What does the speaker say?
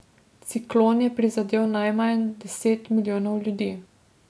Ciklon je prizadel najmanj deset milijonov ljudi.